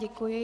Děkuji.